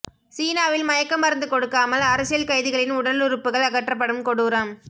சீனாவில் மயக்க மருந்து கொடுக்காமல் அரசியல் கைதிகளின் உடலுறுப்புகள் அகற்றப்படும் கொடூரம்